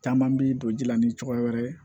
Caman bi don ji la ni cogoya wɛrɛ ye